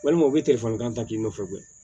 Walima u bɛ telefɔnikan ta k'i nɔfɛ